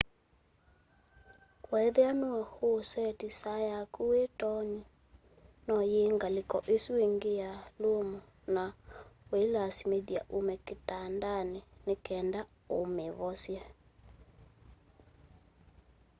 weethĩa nũe ũũlĩsetĩ saa yakũ wĩ toonĩ no yiwe ngalĩkonĩ ĩsũ ĩngĩ ya lũmũ na ĩĩkũlasĩmĩthya ũme kitandanĩ nĩkenda ũmĩvosye